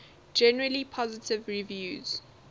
generally positive reviews